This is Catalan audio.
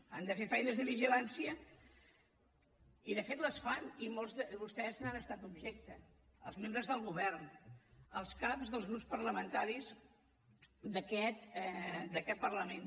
han de fer feines de vigilància i de fet les fan i molts de vostès n’han estat objecte els membres del govern els caps dels grups parlamentaris d’aquest parlament